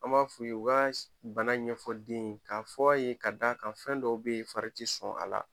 An b'a fu ye , u ka ka bana ɲɛfɔ den ka fɔ a ye ka da kan fɛn dɔw be yen fari ti sɔn a la.